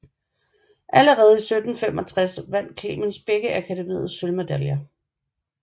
Allerede i 1765 vandt Clemens begge Akademiets sølvmedaljer